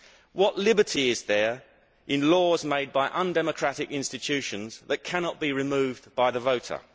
What liberty is there in laws made by undemocratic institutions that cannot be removed by the voter?